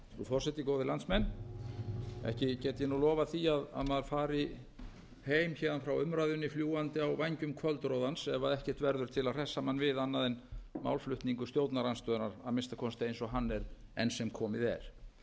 maður fari heim héðan frá umræðunni fljúgandi á vængjum kvöldroðans ef ekkert verður til að hressa mann við annað en málflutningur stjórnarandstöðunnar að minnsta kosti eins og hann er enn sem komið er